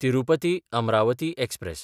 तिरुपती–अमरावती express